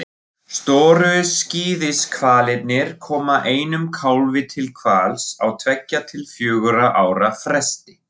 Stóru skíðishvalirnir koma einum kálfi til hvals á tveggja til fjögurra ára fresti.